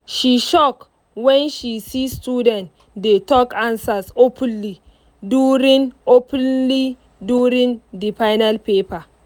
she shock when she see students dey talk answers openly during openly during the final paper.